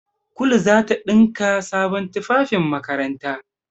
Kulu za ta ɗinka sabon tufafin makaranta.